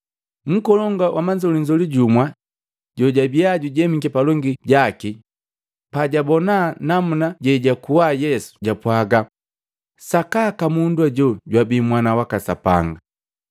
Nkolongu wa manzolinzoli jumwa jojabia jujemiki palongi jaki pajabona namuna jejakua Yesu japwaga, “Sakaka mundu hajo jwabii Mwana waka Sapanga!”